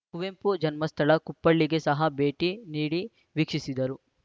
ಕುವೆಂಪು ಜನ್ಮ ಸ್ಥಳ ಕುಪ್ಪಳ್ಳಿಗೆ ಸಹ ಭೇಟಿ ನೀಡಿ ವೀಕ್ಷಿಸಿದರು